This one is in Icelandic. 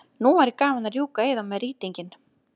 Nú væri gaman að rjúka í þá með rýtinginn.